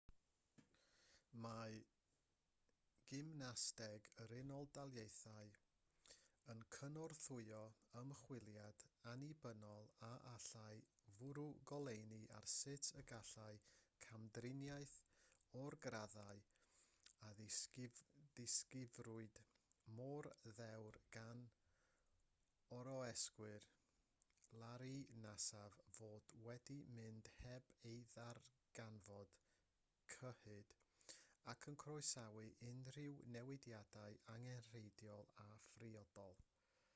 mae gymnasteg yr unol daleithiau yn cynorthwyo ymchwiliad annibynnol a allai fwrw goleuni ar sut y gallai camdriniaeth o'r graddau a ddisgrifiwyd mor ddewr gan oroeswyr larry nassar fod wedi mynd heb ei ddarganfod cyhyd ac yn croesawu unrhyw newidiadau angenrheidiol a phriodol